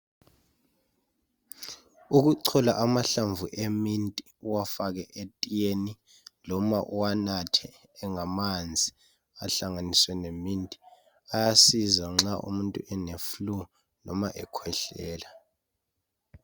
Ukuchola amahlamvu eminti uwafake etiyeni loba uwanathe engamanzi ahlanganiswe leminti ayasiza umuntu loba eleflue loba ekhwehlela.